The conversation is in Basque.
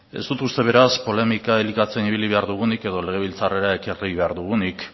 ez dut uste beraz polemika elikatzen ibili behar dugunik edo legebiltzarrera ekarri behar dugunik